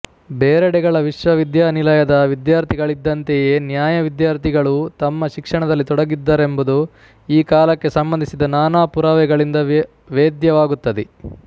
ಬೇರೆಡೆಗಳ ವಿಶ್ವವಿದ್ಯಾನಿಲಯದ ವಿದ್ಯಾರ್ಥಿಗಳಿದ್ದಂತೆಯೇ ನ್ಯಾಯ ವಿದ್ಯಾರ್ಥಿಗಳೂ ತಮ್ಮ ಶಿಕ್ಷಣದಲ್ಲಿ ತೊಡಗಿದ್ದರೆಂಬುದು ಈ ಕಾಲಕ್ಕೆ ಸಂಬಂಧಿಸಿದ ನಾನಾ ಪುರಾವೆಗಳಿಂದ ವೇದ್ಯವಾಗುತ್ತದೆ